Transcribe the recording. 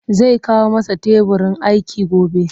Zai kawo masa teburin aiki gobe